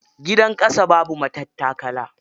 Gidan ƙasa babu matattakala.